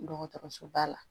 Dɔgɔtɔrɔso ba la